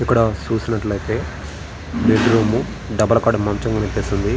ఇక్కడ చూసినట్లయితే bedroom double cot మంచము కనిపిస్తుంది.